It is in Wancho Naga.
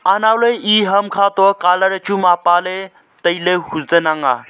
anow ley e hamkha toh colour mapa ley tailey huzan ang nga.